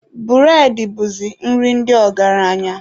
Bụredị bụzi nri ndị ọgaranya.